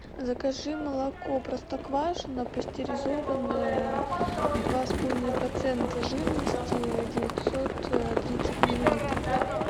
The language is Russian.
закажи молоко простоквашино пастеризованное два с половиной процента жирности девятьсот тридцать миллилитров